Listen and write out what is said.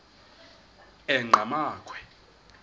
enqgamakhwe